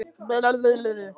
Ólíver, viltu hoppa með mér?